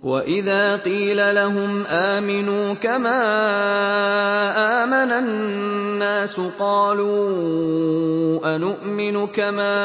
وَإِذَا قِيلَ لَهُمْ آمِنُوا كَمَا آمَنَ النَّاسُ قَالُوا أَنُؤْمِنُ كَمَا